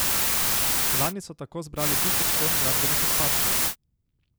Lani so tako zbrali tisoč ton gradbenih odpadkov.